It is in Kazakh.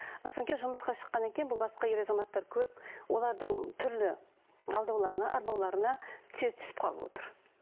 ы кейін жұмысқа шыққаннан кейін бұл басқа ер азаматтар көріп олардың түрлі алдауларына арбауларына тез түсіп қалып отыр